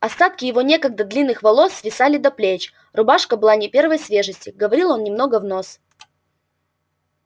остатки его некогда длинных волос свисали до плеч рубашка была не первой свежести говорил он немного в нос